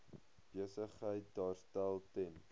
besigheid daarstel ten